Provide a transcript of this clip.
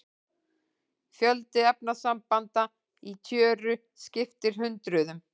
Fjöldi efnasambanda í tjöru skiptir hundruðum.